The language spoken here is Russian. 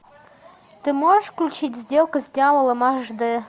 ты можешь включить сделка с дьяволом аш д